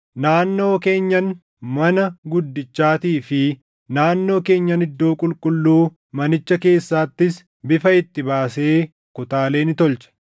Naannoo keenyan mana guddichaatii fi naannoo keenyan iddoo qulqulluu manicha keessaattis bifa itti baasee kutaalee ni tolche.